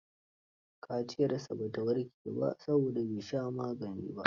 Kaciyarsa ba ta warke ba, saboda bai sha magani ba